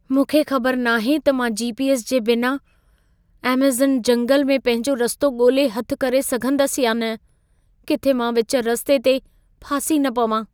मूंखे ख़बर नाहे त मां जी.पी.एस. जे बिना अमेज़ॅन जंगल में पंहिंजो रस्तो ॻोल्हे हथु करे सघंदसि या न। किथे मां विच रस्ते ते फासी न पवां।